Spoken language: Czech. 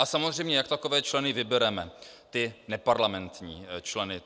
A samozřejmě jak takové členy vybereme, ty neparlamentní členy.